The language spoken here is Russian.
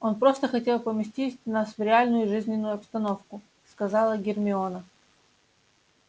он просто хотел поместить нас в реальную жизненную обстановку сказала гермиона